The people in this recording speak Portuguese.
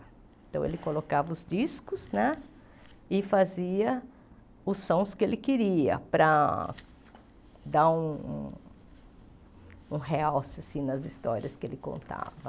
Então, ele colocava os discos né e fazia os sons que ele queria para dar um um um realce assim nas histórias que ele contava.